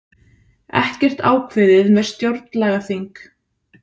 Ekkert ákveðið með stjórnlagaþing